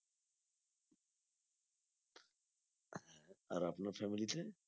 আর আপনার family তে